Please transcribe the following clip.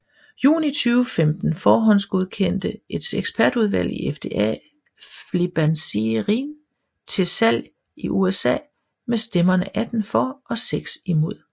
Juni 2015 forhåndsgodkendte et ekspertudvalg i FDA Flibanserin til salg i USA med stemmerne 18 for og 6 imod